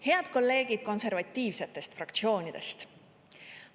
Head kolleegid konservatiivsetest fraktsioonidest!